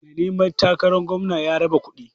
Mai neman takaran gwamna ya raba kuɗi.